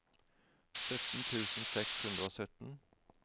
sytten tusen seks hundre og sytten